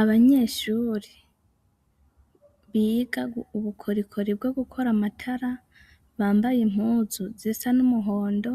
Abanyeshuri biga ubukorikori bwo gukora amatara bambaye impuzu zisa n'umuhondo,